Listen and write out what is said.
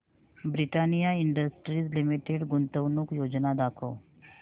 Britannia industries limited गुंतवणूक योजना दाखव